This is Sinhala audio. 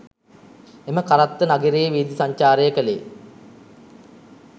එම කරත්ත නගරයේ වීධි සංචාරය කළේ